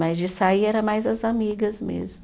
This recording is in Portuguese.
Mas de sair era mais as amigas mesmo.